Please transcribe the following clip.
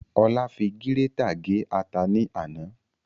Ola fi gírétà gé ata ní àná